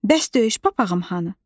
Bəs döyüş papağım hanı?